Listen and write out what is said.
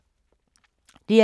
DR2